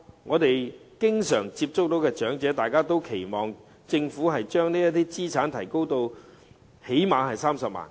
我們經常接觸的長者均期望政府能將這資產限額提高至最少30萬元。